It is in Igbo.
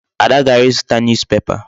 Ada gara ịzụta newspaper.